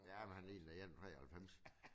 Ja men han ligner en på 93